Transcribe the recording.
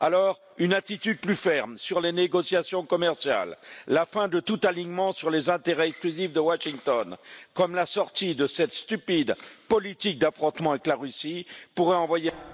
Alors, une attitude plus ferme sur les négociations commerciales, la fin de tout alignement sur les intérêts exclusifs de Washington comme la sortie de cette stupide politique d'affrontement avec la Russie pourrait envoyer